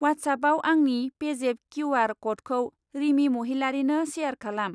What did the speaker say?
वाट्सापाव आंनि पेजेफ किउ.आर. क'डखौ रिमि महिलारिनो सेयार खालाम।